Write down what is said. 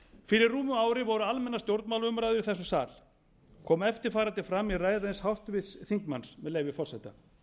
fyrir rúmu ári voru almennar stjórnmálaumræður í þessum sal kom eftir farandi fram í ræðu eins háttvirts þingmanns með leyfi forseta